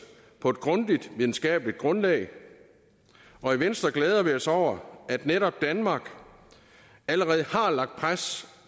på et grundigt videnskabeligt grundlag og i venstre glæder vi os over at netop danmark allerede har lagt pres